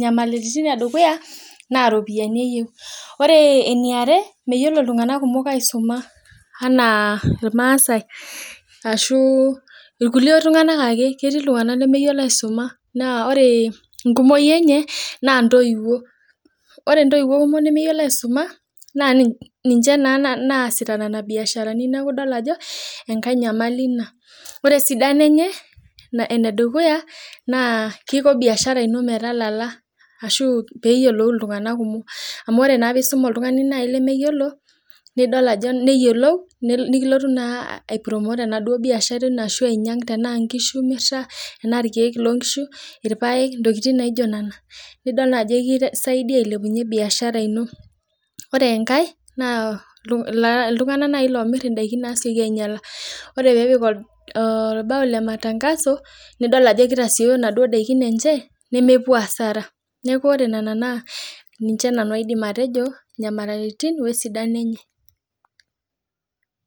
nyamalitin edukuya na ropiyani eyieu ore eniare na meyiolo ltunganak kumok aisuma naa irmasai ashu irkulie tunganak ake ketii ltunganak lemeyiolo aisuma na orw enkumoi enye na ntoiwuo nemeyiolo aisuma na ninche naa loosita nona biasharani neaku idolta ajo enkai nyamali ina or esidano eye nakiko biashara metayiolo ltunganak kumok amu meetai lemeyiolo ninyanga ana nkisu emirita anaa irpaek, ntokitin naijo nona neaku idol ajo ekisaidii ailepunye biashara ino ore enkae na ltunganak omir ndakin nasieki ainyala neaku ore nona na ninche nani ai atejo nyamalitin esidano enye